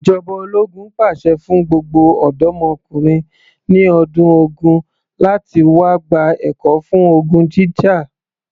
Ìjọba ológun pàṣẹ fún gbogbo ọ̀dọ́mokùnrin ẹni ọdún ogún láti wá gba ẹ̀kọ́ fún ogun jíjà